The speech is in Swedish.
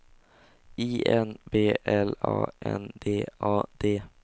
I N B L A N D A D